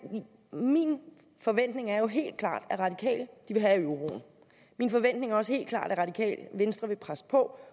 min forventning er jo helt klart at radikale vil have euroen min forventning er også helt klart at radikale venstre vil presse på